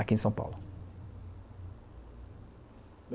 aqui em São Paulo.